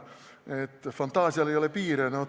Fantaasial ei ole piire.